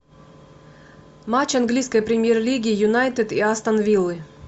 матч английской премьер лиги юнайтед и астон виллы